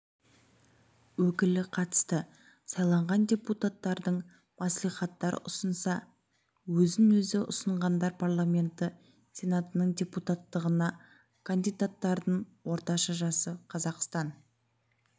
өкілі қатысты сайланған депуттардың мәслихаттар ұсынса өзін-өзі ұсынғандар парламенті сенатының депутаттығына кандидаттардың орташа жасы қазақстан